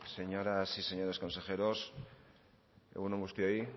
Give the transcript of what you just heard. señoras y señores consejeros egun on guztioi